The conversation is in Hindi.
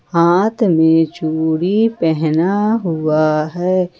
हाथ में चूड़ी पहना हुआ है।